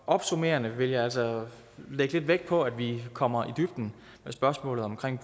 opsummerende vil jeg altså lægge lidt vægt på at vi kommer i dybden med spørgsmålet omkring